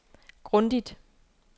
grundigt